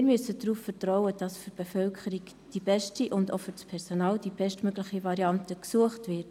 Wir müssen darauf vertrauen, dass für die Bevölkerung und das Personal die bestmögliche Variante gesucht wird.